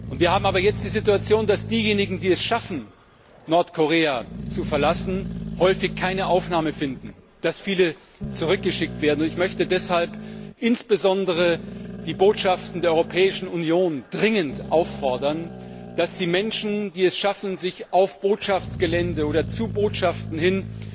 Wir haben aber jetzt die Situation, dass diejenigen, die es schaffen, Nordkorea zu verlassen, häufig keine Aufnahme finden, dass viele zurückgeschickt werden. Deshalb möchte ich insbesondere die Botschaften der Europäischen Union dringend auffordern, dass sie Menschen, die es schaffen, sich zu Botschaften hin